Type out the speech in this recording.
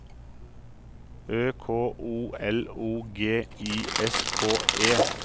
Ø K O L O G I S K E